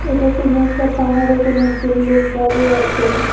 এটা কোনো একটা পাহাড়ে কোনো একজন লোক দাঁড়িয়ে আছেন।